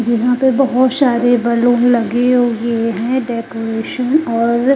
यहां पे बहुत सारे बैलून लगे हुए हैं डेकोरेशन और--